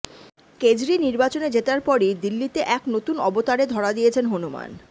কেজরি নির্বাচনে জেতার পরই দিল্লিতে এক নতুন অবতারে ধরা দিয়েছেন হনুমান